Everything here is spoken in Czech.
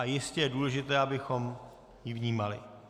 A jistě je důležité, abychom ji vnímali.